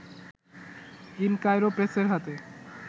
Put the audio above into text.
in Cairo প্রেসের হাতে